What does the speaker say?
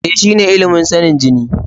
E, shine ilimin sanin jini.